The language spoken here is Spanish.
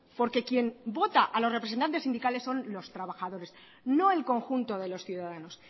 porque quien vota a los representantes sindicales son los trabajadores no el conjunto de los ciudadanos